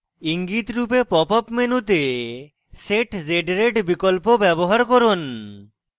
ইঙ্গিত রূপে pop up মেনুতে set z rate বিকল্প ব্যবহার করুন